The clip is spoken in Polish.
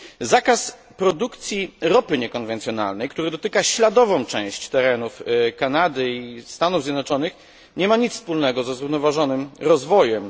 Zakaz produkcji ropy niekonwencjonalnej, który dotyka śladową część terenów Kanady i Stanów Zjednoczonych, nie ma nic wspólnego ze zrównoważonym rozwojem.